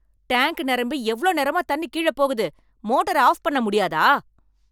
Tank நெரம்பி எவ்ளோ நேரமா தண்ணி கீழப் போகுது, மோட்டர ஆஃப் பண்ண முடியாதா?